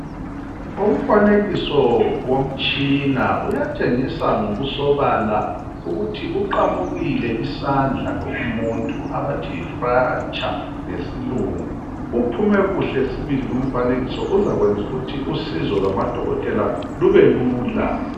Umfanekiso womtshina uyatshengisa ngokusobala ukuthi uqamukile isandla lo umuntu abathi yi fracture ngesilungu. Uphume kuhle sibili lumfanekiso uzakwenzukuthi usizo lwamadokotela lubelula.